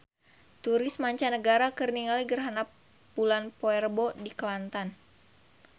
Turis mancanagara keur ningali gerhana bulan poe Rebo di Kelantan